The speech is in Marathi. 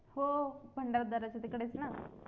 हो भंडारदराचे तिकडेच ना